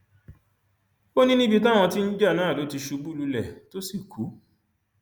ó ní níbi táwọn tí ń jà náà ló ti ṣubú lulẹ tó sì kú